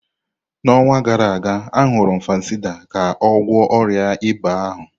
N'ọnwa gara aga, añurum Fansidar ka ọ gwọọ ọrịa ịba ahụ.